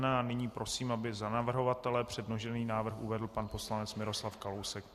Nyní prosím, aby za navrhovatele předložený návrh uvedl pan poslanec Miroslav Kalousek.